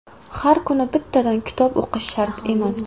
Har kuni bittadan kitob o‘qish shart emas.